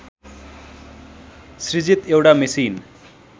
सृजित एउटा मेसिन